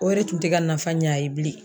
O yɛrɛ tun tɛ ka nafa ɲɛ a ye bilen.